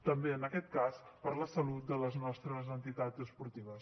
també en aquest cas per la salut de les nostres entitats esportives